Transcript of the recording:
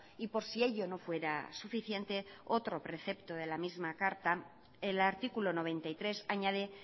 y por si ello no fuera suficiente otro precepto de la misma carta el artículo noventa y tres añade